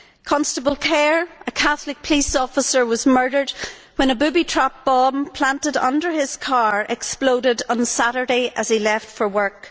Constable Kerr, a Catholic police officer, was murdered when a booby trap bomb planted under his car exploded on Saturday as he left for work.